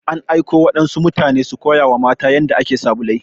An aiko waɗansu mutane su koya wa matan yanda ake sabulai.